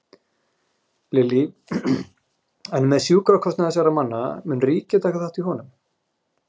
Lillý: En með sjúkrakostnað þessara manna, mun ríkið taka þátt í honum?